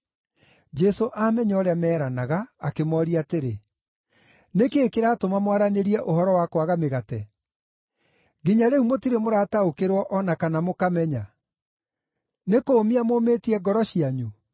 Jesũ aamenya ũrĩa meeranaga akĩmooria atĩrĩ, “Nĩ kĩĩ kĩratũma mwaranĩrie ũhoro wa kwaga mĩgate? Nginya rĩu mũtirĩ mũrataũkĩrwo o na kana mũkamenya? Nĩ kũũmia mũũmĩtie ngoro cianyu?